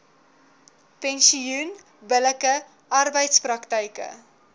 pensioen billike arbeidspraktyke